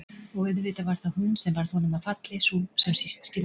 Og auðvitað var það hún sem varð honum að falli, sú sem síst skyldi.